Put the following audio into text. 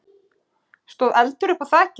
stóð eldur uppúr þaki.